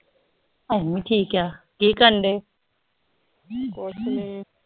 ਅਸੀਂ ਵੀ ਠੀਕ ਆ ਕਿ ਕਰਦੇ ਕੁਛ ਨੀ